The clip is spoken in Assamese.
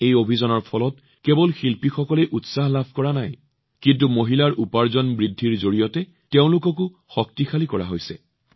এই অভিযানৰ ফলত কেৱল শিল্পীসকলেই উৎসাহ লাভ কৰাই নহয় বৰঞ্চ মহিলাসকলৰ উপাৰ্জন বৃদ্ধি হৈ তেওঁলোকো সৱলীকৃত হৈছে